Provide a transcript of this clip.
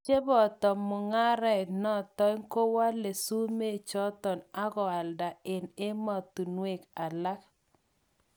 Cheboto munga'ret notoi kwole sumek choton akwalda ang emotunwek alak.